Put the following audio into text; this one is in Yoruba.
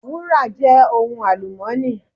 Wúrà je ohun alumọ́nì.